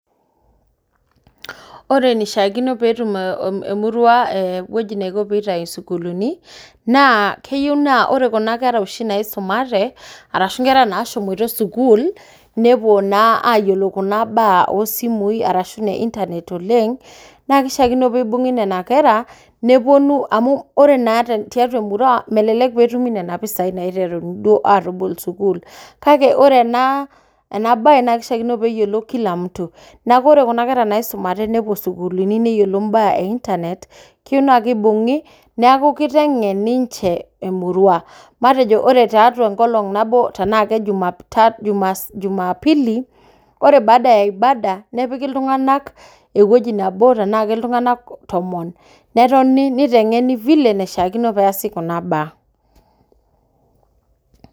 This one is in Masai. Ore neishakino petum eh emurua eeh ewueji neiko peitai sukuluni naa keyou naa ore kuna kera oshi naisumate arashu nashomoita sukuul nepuo naa ayiolou kuna baa osimui arashu ne internet oleng' nakeishakino peibung'i nena kera nepuonu amu ore naa te tiatua emurua melelek petumi nena pisai naiteruni duo atobol sukul kake ore naa enabaye nakeishakino peeyiolou kila mtu. Neaku ore kuna kera naisumate nepuo sukuluni neyiolou mbaa e internet. Keyou nakeibung'i neaku kiteng'en ninche emurua. Matejo ore tiatua enkolong' nabo tenaake jumap tatu, juma jumapili ore baada ya ibada nepiki iltung'anak ewueji nabo tenaake iltung'anak tomon netoni neiteng'en vile naishakino peasi kuna baa.